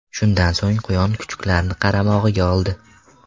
Shundan so‘ng quyon kuchuklarni qaramog‘iga oldi.